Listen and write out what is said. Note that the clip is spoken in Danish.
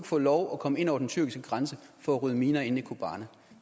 få lov at komme ind over den tyrkiske grænse for at rydde miner inde i kobane